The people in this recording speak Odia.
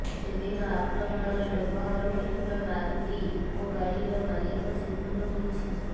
ସେଦିନ ଆକ୍ରମଣରେ ବ୍ୟବହାର ହୋଇଥିବା ମାରୁତି ଇକୋ ଗାଡ଼ିର ମାଲିକ ଚିହ୍ନଟ ହୋଇଛି